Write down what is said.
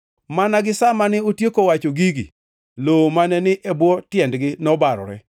Mana gi sa mane otieko wacho gigi, lowo mane ni e bwo tiendgi nobarore,